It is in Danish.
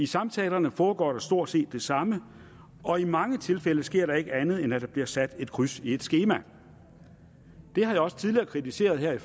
samtaler foregår der stort set det samme og i mange tilfælde sker der ikke andet end at der bliver sat et kryds i et skema det har jeg også tidligere kritiseret i